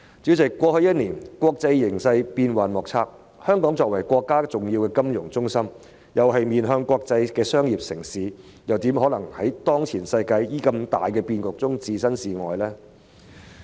主席，過去一年國際形勢變幻莫測，香港作為國家重要的金融中心，亦是面向國際的商業城市，又怎可能在當前世界的重大變局中置身事外呢？